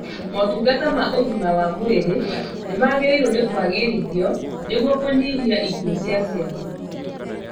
Motungata ma ũgima wa mwĩrĩ nĩmagĩrĩirwo nĩ kwagwĩrithio nĩguo kũnyihia ikuũ cia ciana